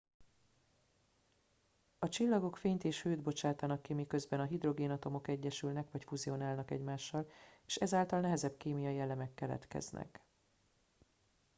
a csillagok fényt és hőt bocsátanak ki miközben a hidrogénatomok egyesülnek vagy fuzionálnak egymással és ezáltal nehezebb kémiai elemek keletkeznek